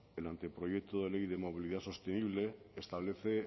el anteproyecto de ley de movilidad sostenible establece